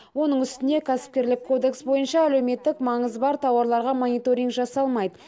оның үстіне кәсіпкерлік кодекс бойынша әлеуметтік маңызы бар тауарларға мониторинг жасалмайды